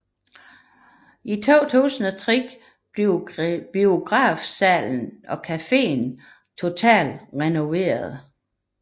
I 2003 blev biografsalen og caféen totalt renoveret